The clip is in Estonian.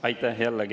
Aitäh!